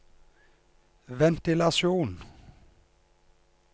ventilasjon